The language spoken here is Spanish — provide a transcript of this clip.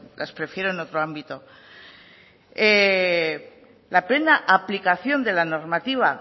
las prefiero en otro ámbito la plena aplicación de la normativa